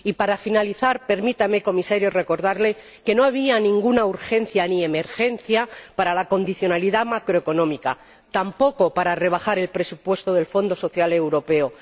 Y para finalizar, permítame, señor Comisario, recordarle que no había ninguna urgencia ni emergencia para la condicionalidad macroeconómica, tampoco para rebajar el presupuesto del Fondo Social Europeo.